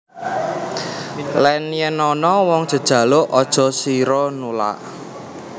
Lan yen ana wong jejaluk aja sira nulak